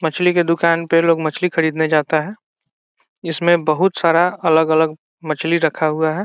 मछली के दुकान पे लोग मछली खरीदने जाता है इसमें बहुत सारा अलग-अलग मछली रखा हुआ है।